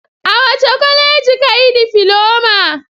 A wace kwaleji ka yi difiloma?